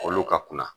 Olu ka kunna